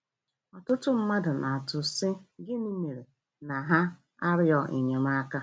Ọtụtụ mmadụ na-atụ, sị: gịnị mere na ha arịọ enyemaka.